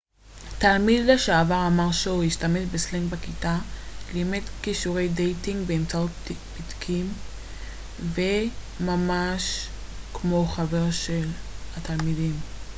תלמיד לשעבר אמר שהוא השתמש בסלנג בכיתה לימד כישורי דייטינג באמצעות פתקים והיה ממש כמו חבר של התלמידים